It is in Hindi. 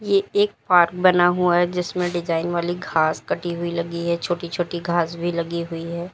ये एक पार्क बना हुआ है जिसमें डिजाइन वाली घास कटी हुई लगी है छोटी छोटी घास भी लगी हुई है।